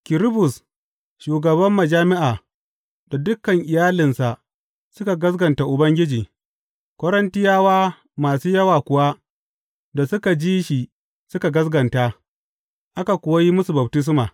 Kirisbus, shugaban majami’a, da dukan iyalinsa suka gaskata Ubangiji; Korintiyawa masu yawa kuwa da suka ji shi suka gaskata, aka kuwa yi musu baftisma.